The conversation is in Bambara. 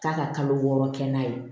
K'a ka kalo wɔɔrɔ kɛ n'a ye